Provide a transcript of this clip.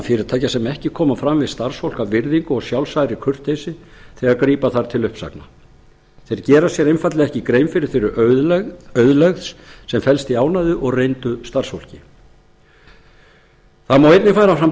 fyrirtækja sem koma ekki fram við starfsfólk af virðingu og sjálfsagðri kurteisi þegar grípa þarf til uppsagna þeir gera sér einfaldlega ekki grein fyrir þeirri auðlegð sem felst í ánægðu og reyndu starfsfólki það má einnig færa fram